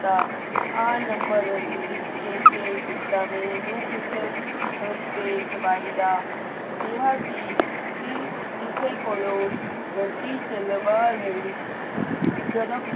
ਤਾਂ ਆਹ ਨੰਬਰ ਵੀ ਲਿਖ ਕੇ ਭੇਜ ਦਿੱਤਾ ਮੇਰੇ ਨੂੰਹ ਪੁੱਤਰ ਤੇ ਜਵਾਈ ਦਾ ਕਿਹਾ ਕਿ ਕਿਸੇ ਕੋਲੋਂ ਗੱਡੀ ਚਲਵਾ ਲਈ।